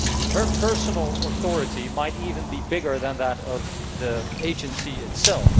Her personal authority might even be greater than that of the Agency itself.